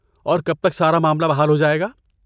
اور کب تک سارا معاملہ بحال ہو جائے گا؟